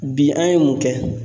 Bi an ye mun kɛ?